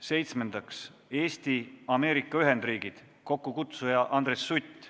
Seitsmendaks, Eesti – Ameerika Ühendriigid, kokkukutsuja on Andres Sutt.